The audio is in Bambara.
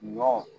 Ɲɔ